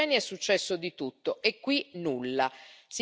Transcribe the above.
Un anno nel quale in Cecenia è successo di tutto.